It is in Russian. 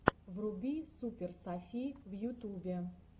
вруби супер софи в ютубе